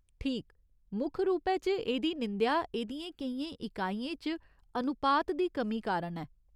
ठीक, मुक्ख रूपै च एह्दी निंदेआ एह्दियें केइयें इकाइयें च अनुपात दी कमी कारण ऐ।